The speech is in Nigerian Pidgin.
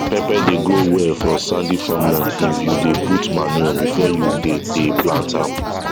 pepper dey grow well for sandy farmland if you dey put manure before you dey dey plant am